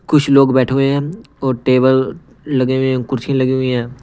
कुछ लोग बैठे हुए हैं और टेबल लगे हुए हैं कुर्सी लगी हुई हैं।